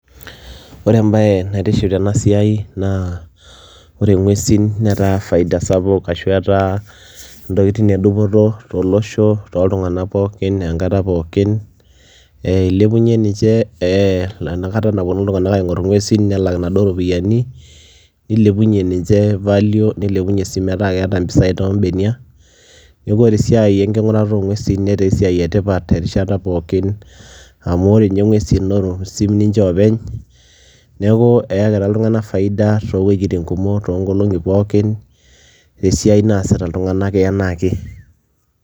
Ore embaye naitiship tena siai naa ore ng'uesin netaa faida sapuk ashu etaa ntokitin e dupoto tolosho, tooltung'anak pookin enkata pookin ee ilepunye ninche ee enakata naponu iltung'anak aing'or ing'uesin nelak naduo ropiani nilepunye ninche value, nilepunye sii metaa keeta mpisai too mbeniak. Neeku ore esiai enking'urata oo ng'uesin netaa esiai e tipat terishata pookin amu ore nye ng'uesin naa osim ninche oopeny. Neeku eyakitia iltung'anak faida too wojitin kumok too nkolong'i pookin te esiai naasita iltung'anak enaa ake.